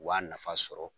U b'a nafa sɔrɔ